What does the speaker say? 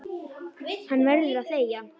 Hann verður að þegja.